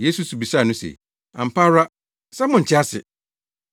Yesu nso bisaa no se, “Ampa ara sɛ monte ase?